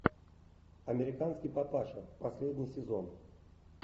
американский папаша последний сезон